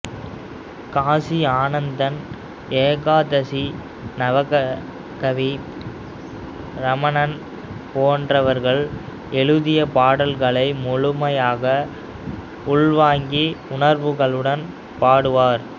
காசி ஆனந்தன் ஏகாதசி நவகவி ரமணன் போன்றவர்கள் எழுதிய பாடல்களை முழுமையாக உள்வாங்கி உணர்வுடன் பாடுவார்